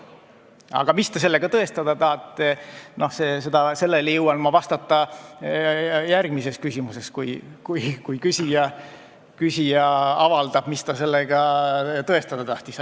Aga mis te sellega tõestada tahate, sellele saan ma vastata järgmises küsimuses, kui küsija avaldab, mida ta sellega tõestada tahtis.